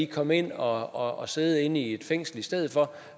komme ind og og sidde i et fængsel i stedet for